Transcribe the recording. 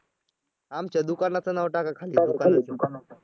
आमच्या दुकानाचं नाव टाका खाली